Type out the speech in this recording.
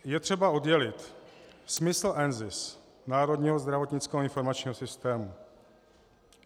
Je třeba oddělit smysl NZIS, Národního zdravotnického informačního systému.